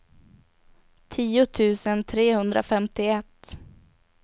tio tusen trehundrafemtioett